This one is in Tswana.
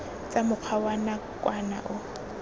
tsa mokgwa wa nakwana o